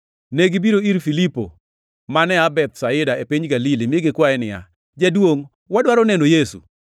Negibiro ir Filipo, mane aa Bethsaida, e piny Galili, mi gikwaye niya, “Jaduongʼ, wadwaro neno Yesu.”